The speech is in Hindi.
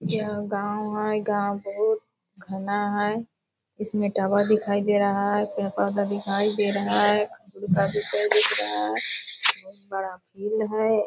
यह गाँव है गाँव बहुत घना है इसमें टावर दिखाई दे रहा है पेड़-पोधा दिखाई दे रहा है दिखाई दे रहा है बहुत बड़ा झील है |